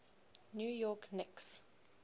new york knicks